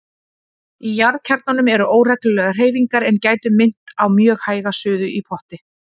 Í jarðkjarnanum eru óreglulegar hreyfingar er gætu minnt á mjög hæga suðu í potti.